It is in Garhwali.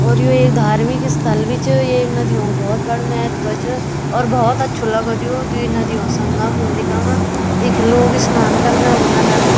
और यु एक धार्मिक स्थल भी च येक नदियों क भौत बड़ु महत्व च और भौत अच्छू लगद यू द्वि नदियों क संगम हुंद इखम इख लोग स्नान कना ओना दन।